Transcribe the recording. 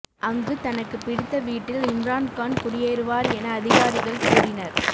அங்கு தனக்கு பிடித்த வீட்டில் இம்ரான் கான் குடியேறுவார் என அதிகாரிகள் கூறினர்